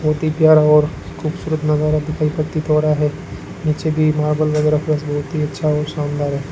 बहुत ही प्यारा और खूबसूरत नजारा प्रतीत हो रहा है नीचे भी मार्बल वगैरह फर्श बहुत ही अच्छा और शानदार है।